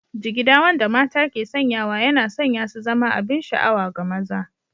Jigida wanda mata ke sanyawa yana sanya su zama abin sha'awa ga maza